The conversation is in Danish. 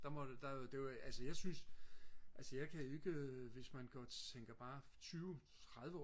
der måtte der det ved altså jeg synes altså jeg kan ikke øh hvis man går tænker bare tyve tredive år